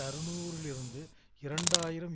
அறுநூறு லிருந்து இரண்டு ஆயிரம்